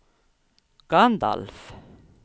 Gandalf